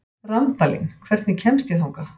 Randalín, hvernig kemst ég þangað?